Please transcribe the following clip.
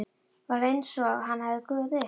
Var einsog hann hefði gufað upp.